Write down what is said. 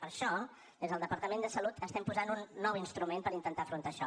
per això des del departament de salut estem posant un nou instrument per intentar afrontar això